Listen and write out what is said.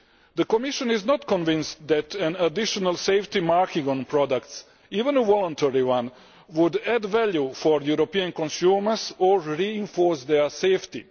The Commission is not convinced that an additional safety marking on products even a voluntary one would add value for European consumers or reinforce their safety.